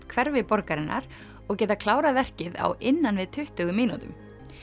hverfi borgarinnar og geta klárað verkið á innan við tuttugu mínútum